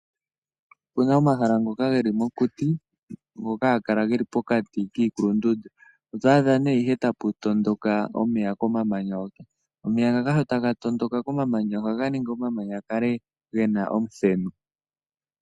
Opuna omahala ngoka geli mokuti, ngoka haga kala geli pokati kiikulundundu. Oto adha nee ihe taku tondoka omeya komamanya hoka. Omeya ngaka sho taga tondoka komamanya, ohaga ningi omamanya ga kale gena omuthenu.